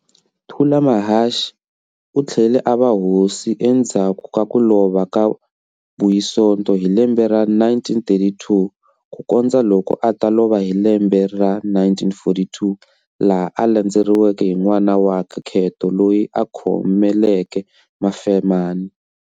Thulamahashe uthlele a va hosi endhzaku ka kulova ka Buyisonto hi lembe ra 1932, ku kondza loko ata lova hi lembe ra 1942, laha a landzeriweke hi n'wana wakwe Kheto loyi a khomeleke Mafemani.